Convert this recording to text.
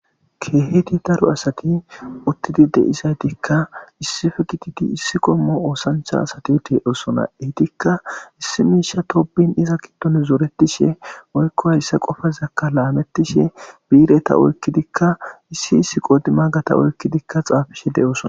Keehi daro asati uttidi de'issaytikka issife gididi issi qommo oosanchcha asati utidoosona ehitikka issi miishsha tobin iza giddon zoretiishshe moykko hayssa qofazakka laamettishe biireta oykkidikka issi issi qodi magata oykkidikka xaafishe de'oosona